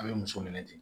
A bɛ muso minɛ ten